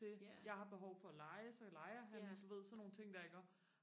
til jeg har behov for at lege så leger han du ved sådan nogle ting der iggå